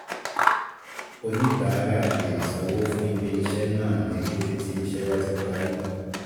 Oníbàárà lè sanwó fún ilé-iṣẹ́ náà ní kété tí ìṣe bá ti parí